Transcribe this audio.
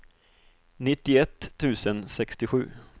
nittioett tusen sextiosju